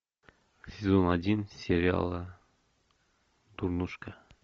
сезон один сериала дурнушка